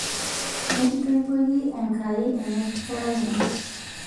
mekitoipoiki enkai enekarei ino